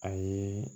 A ye